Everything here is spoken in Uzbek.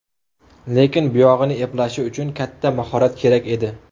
Lekin buyog‘ini eplashi uchun katta mahorat kerak edi.